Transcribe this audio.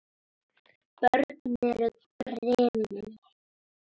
Börn eru grimm.